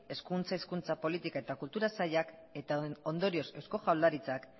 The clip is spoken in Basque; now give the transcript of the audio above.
hezkuntza hizkuntza politika eta kultura sailak eta ondorioz eusko jaurlaritzak